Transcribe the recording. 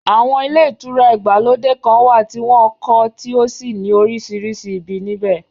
Àwọn ilé ìtura ìgbàlódé kan wà tí wọ́n kọ́ tí ó sì ní orísìírísìí ibi níbẹ̀